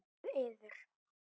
Með yður!